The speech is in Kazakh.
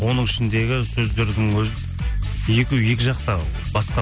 оның ішіндегі сөздердің өзі екеуі екі жақта басқа